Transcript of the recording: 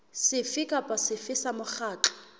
sefe kapa sefe sa mokgatlo